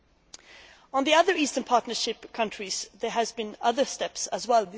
soon. Concerning the other Eastern Partnership countries, there have been other steps as